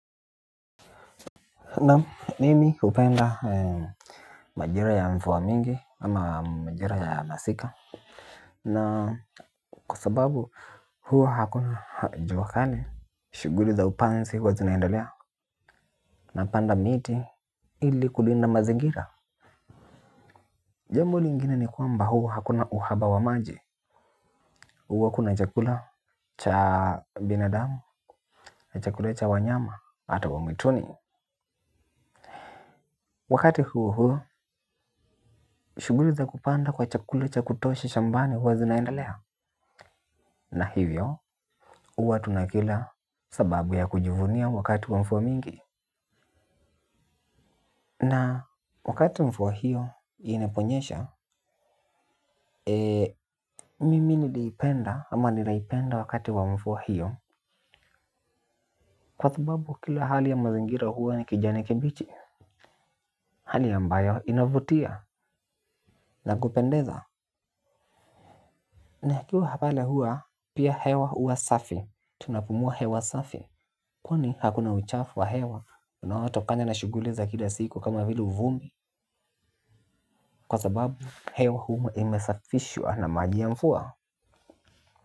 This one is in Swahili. Mimi hupenda majira ya mvuwa mingi ama majira ya masika na kwasababu huwa hakuna juwakali shughuli za upanzi huwa zinaendelea. Napanda miti ili kulinda mazingira jambo lingine ni kwamba huwa hakuna uhaba wa maji huwa kuna chakula cha binadamu chakula cha wanyama hata wa mwituni wakati huuhuu shughuli za kupanda kwa chakula cha kutosha shambani huwa zinaendelea na hivyo, huwa tunakila sababu ya kujivunia wakati wa mvuwa mingi na wakati mvuwa hiyo inaponyesha. Eee, mimi niliipenda ama ninaipenda wakati wa mvuwa hiyo kwa sababu kila hali ya mazingira huwa ni kijani kibichi hali ambayo inavutia na kupendeza na hikiwa hapale huwa, pia hewa huwa safi, tunapumua hewa safi kwani hakuna uchafu wa hewa, unaoto kana na shuguli za kila siku kama vile vumbi kwa sababu, hewa huwa imesafishwa na maji ya mvuwa.